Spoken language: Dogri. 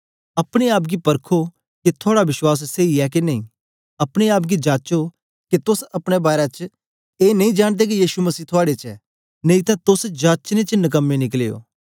अपने आप गी परखो के थुआड़ा विश्वास सेई ऐ के नेई अपने आप गी जाचो के तोस अपने बारै च ए नेई जांनदे के यीशु मसीह थुआड़े च ऐ नेई तां तोस जाचने च नकमे निकले ओ